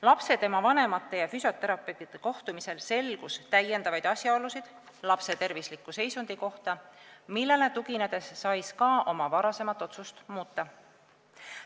Lapse, tema vanemate ja füsioterapeudi kohtumisel selgus täiendavaid asjaolusid lapse tervisliku seisundi kohta, millele tuginedes sai SKA oma varasemat otsust muuta.